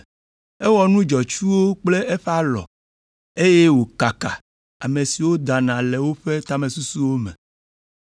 Ewɔ nu dzɔtsuwo kple eƒe alɔ, eye wòkaka ame siwo dana le woƒe tamesusuwo me.